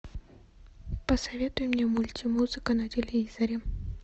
посоветуй мне мультимузыка на телевизоре